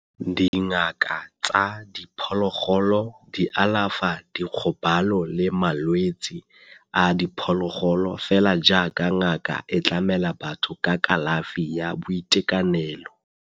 Dingaka tsa diphologolo di alafa dikgobalo le malwetse a diphologolo fela jaaka ngaka e tlamela batho ka kalafi ya boitekanelo.